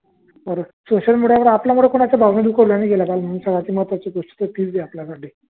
social media वर आपल्यावरुन कुणाच महत्वाची गोष्टी आपल्या साटी